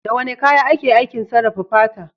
Da wane kaya ake aikin sarrafa fata?